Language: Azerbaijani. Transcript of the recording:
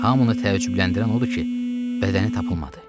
Hamını təəccübləndirən odur ki, bədəni tapılmadı.